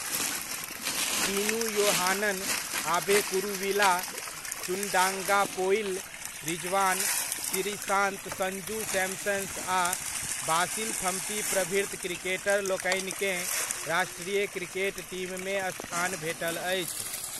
टीनू योहानन, आबे कुरुविला, चुंडांगापोइल रिज़वान, श्रीसांत, संजू सैम्सन आ बासिल थम्पी प्रभृत क्रिकेटरलोकनिकेँ राष्ट्रीय क्रिकेट टीममे स्थान भेटल अछि।